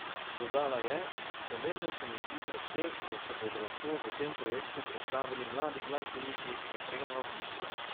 Dodala je: "Pomembno se mi zdi predvsem, da se bodo lahko v tem projektu predstavili mladi glasbeniki, najprej na avdiciji.